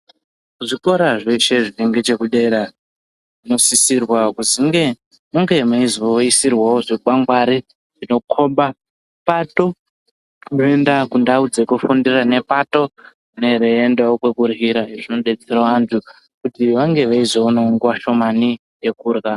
Zvikora zveshe zviri ngechekudera zvinosisirwa kuti munge meizoisirwavo zvekukwangwari. Zvinokoba pato inoenda kundau dzekufundira nepato ine yeiendavo kwekuryira. Izvi zvinobetsera antu kuti vange veizoonavo nguva shomani yekurya.